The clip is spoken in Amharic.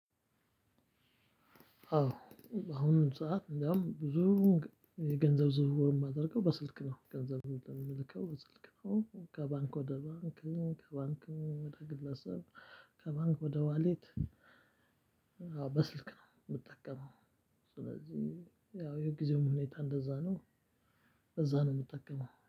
በአሁኑ ሰዓት እንደውም ብዙ ገንዘብ ዝውውር እማደርገው በስልክ ነው ገንዘብ እምልከው በስልክ ነው ከባንክ ወደ ባንክ ከባንክ ወደ ግለሰብ ከባንክ ወደ ዋሌት በስልክ ነው እምጠቀመው። ስለዚህ ያው የግዜውም ሁኔታ እንደዛ ነው። እንደዛ ነው እምጠቀመው